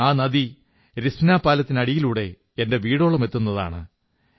ആ നദി രിസ്പനാ പാലത്തിനടിയിലൂടെ എന്റെ വീടോളം എത്തുന്നതാണ്